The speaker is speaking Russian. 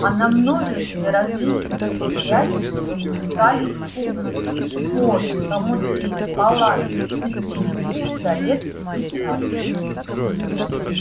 а на множестве различных предприятий выпускались пуговицы шпоры хомуты палатки уздечки пистолеты и сабли